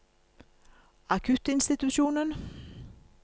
akuttinstitusjonen